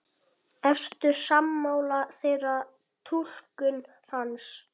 Ertu sammála þeirri túlkun hans?